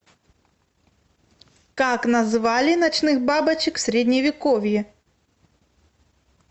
как называли ночных бабочек в средневековье